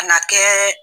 Ka na kɛ